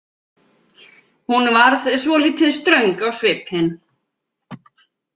Hún varð svolítið ströng á svipinn.